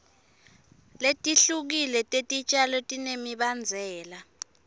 letihlukile tetitjalo tinemibandzela